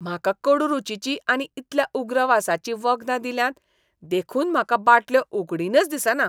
म्हाका कडू रूचीचीं आनी इतल्या उग्र वासाचीं वखदां दिल्यांत देखून म्हाका बाटल्यो उगडीनच दिसना.